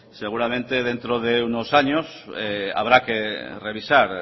seguramente dentro de unos años habrá que revisar